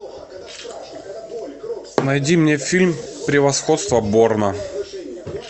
найди мне фильм превосходство борна